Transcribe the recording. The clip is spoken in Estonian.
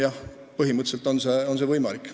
Jah, põhimõtteliselt on see võimalik.